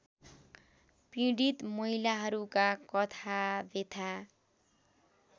पीडित महिलाहरूका कथाव्यथा